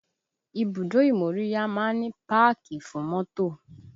Ibùdó ìmóríyá máa ń ní páàkì fún mọ́tò